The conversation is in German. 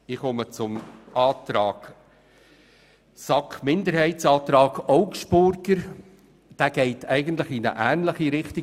Zu Planungserklärung 7 der SAK-Minderheit/Augstburger: Diese geht eigentlich in eine ähnliche Richtung.